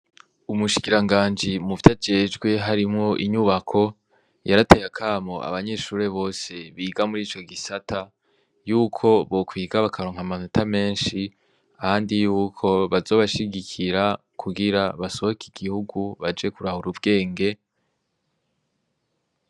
Umushikiranganji muvyo ajejwe harimwo inyubako yarateye akamo abanyeshure bose biga murico gisata yuko bokwiga bakaronka amanota menshi kandi yuko bazobashigikira kugira basohoke igihugu baje kurahura ubgenge .